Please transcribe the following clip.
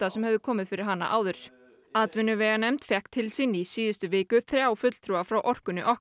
sem höfðu komið fyrir hana áður atvinnuveganefnd fékk til sín í síðustu viku þrjá fulltrúa frá orkunni okkar